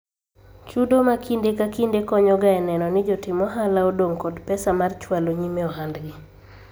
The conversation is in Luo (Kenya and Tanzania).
Chudo ma kinde ka kinde konyo ga e neno ni jotim ohala odong' kod pesa mar chwalo nyime ohandgi